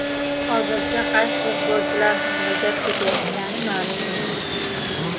Hozircha, qaysi futbolchilar haqida gap ketayotgani ma’lum emas.